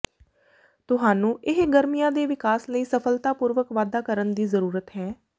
ਤੁਹਾਨੂੰ ਇਹ ਗਰਮੀਆਂ ਦੇ ਵਿਕਾਸ ਲਈ ਸਫਲਤਾਪੂਰਵਕ ਵਾਧਾ ਕਰਨ ਦੀ ਜ਼ਰੂਰਤ ਹੈ